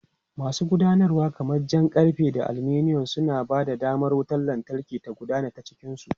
Masu gudanarwa kamar jan karfe da aluminum, suna ba da damar wutar lantarki ta gudana ta cikin su.